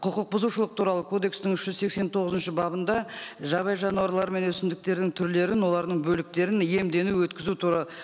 құқық бұзушылық туралы кодекстің үш жүз сексен тоғызыншы бабында жабайы жануарлары мен өсімдіктердің түрлерін олардың бөліктерін емдену өткізу